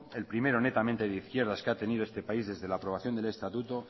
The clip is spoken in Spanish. el primero netamente de izquierdas que ha tenido este país desde la aprobación del estatuto